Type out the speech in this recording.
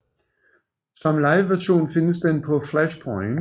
Som live version findes den på Flashpoint